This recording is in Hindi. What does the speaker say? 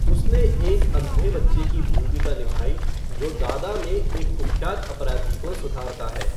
उसने एक अंधे बच्चे की भूमिका निभाई जो दादा में एक कुख्यात अपराधी को सुधारता है।